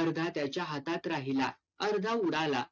अर्धा त्याच्या हातात राहिला. अर्धा उडाला.